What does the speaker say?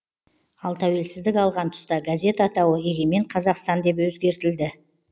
ал тәуелсіздік алған тұста газет атауы егемен қазақстан деп өзгертілді